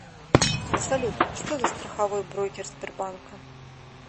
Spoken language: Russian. салют что за страховой брокер сбербанка